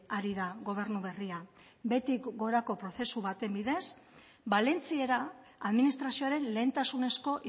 ari da gobernu berria behetik gorako prozesu baten bidez valentziera administrazioaren lehentasunezko